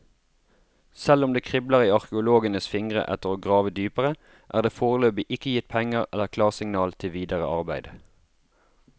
Selv om det kribler i arkeologenes fingre etter å grave dypere, er det foreløpig ikke gitt penger eller klarsignal til videre arbeider.